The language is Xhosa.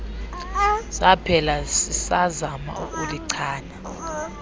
zaphela sisazama ukulichana